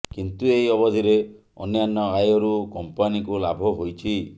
କିନ୍ତୁ ଏହି ଅବଧିରେ ଅନ୍ୟାନ୍ୟ ଆୟରୁ କମ୍ପାନୀକୁ ଲାଭ ହୋଇଛି